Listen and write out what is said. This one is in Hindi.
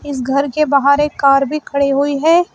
इस घर के बाहर एक कार भी खड़ी हुई है।